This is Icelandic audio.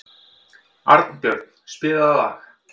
Arnbjörn, spilaðu lag.